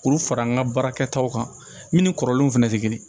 K'olu fara an ka baarakɛtaw kan minnu ni kɔrɔlenw fɛnɛ tɛ kelen ye